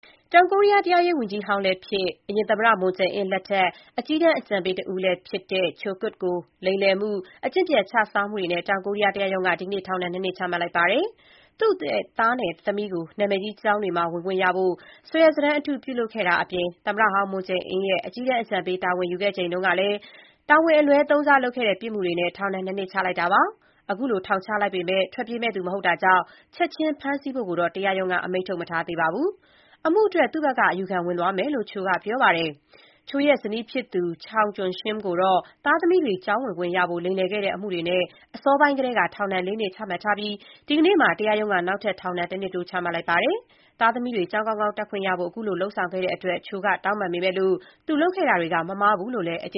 တောင်ကိုရီးယား တရားရေးဝန်ကြီးဟောင်းလည်းဖြစ်၊ အရင်သမ္မတ မွန်ဂျေအင်း (Moon Jae-in) လက်ထက် အကြီးတန်း အကြံပေးတဦးလည်းဖြစ်တဲ့ Cho Kuk ကို လိမ်လည်မှု၊ အကျင့်ပျက်ခြစားမှုတွေနဲ့ တောင်ကိုရီးယားတရားရုံးက ဒီကနေ့ ထောင်ဒဏ် ၂ နှစ်ချမှတ်လိုက်ပါတယ်။ သူ့သားနဲ့ သမီးကို နာမည်ကြီးကျောင်းတွေမှာ ဝင်ခွင့်ရဖို့ စာရွက်စာတမ်းအတု ပြုလုပ်ခဲ့တာအပြင် သမ္မတဟောင်းမွန်ဂျေအင်းရဲ့ အကြီးတန်းအကြံပေး တာဝန်ယူခဲ့ချိန်ကလည်း တာဝန်အလွဲ သုံးစားလုပ်ခဲ့တဲ့ ပြစ်မှုတွေနဲ့ ထောင်ဒဏ် ၂ နှစ်ချလိုက်တာပါ။ ခုလို ထောင်ချလိုက်ပေမဲ့ ထွက်ပြေးမယ့်သူ မဟုတ်တာကြောင့် ချက်ချင်း ဖမ်းဆီးဖို့တော့ တရားရုံးက အမိန့် မထုတ်ထားပါဘူး။ အမှုအတွက် သူ့ဘက်က အယူခံ ဝင်သွားမယ်လို့ Cho က ပြောပါတယ်။ Cho ရဲ့ ဇနီးဖြစ်သူ Chung Kyung-shim ကိုတော့ သားသမီးတွေ ကျောင်းဝင်ခွင့် ရဖို့ လိမ်လည်ခဲ့တဲ့ အမှုတွေနဲ့ အစောပိုင်းကတည်းက ထောင်ဒဏ် ၄ နှစ် ချမှတ်ထားပြီး ဒီကနေ့မှာ တရားရုံးက နောက်ထပ် ထောင်ဒဏ် တနှစ်တိုး ချမှတ်လိုက်ပါတယ်။ သားသမီးတွေ ကျောင်းကောင်းကောင်း တက်ခွင့်ရဖို့ ခုလို လုပ်ဆောင်ခဲ့တဲ့အတွက် Cho က တောင်းပန် ပေမဲ့၊ သူလုပ်ခဲ့တာတွေက မမှားဘူးလို့ပဲ အကြ